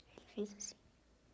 Ele fez assim.